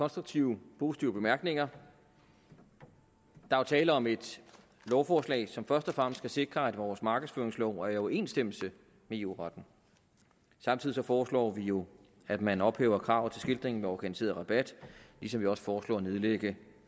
konstruktive positive bemærkninger der er tale om et lovforslag som først og fremmest skal sikre at vores markedsføringslov er i overensstemmelse med eu retten samtidig foreslår vi jo at man ophæver kravet til skiltningen ved organiseret rabat ligesom vi også foreslår at nedlægge